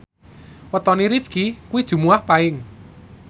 wetone Rifqi kuwi Jumuwah Paing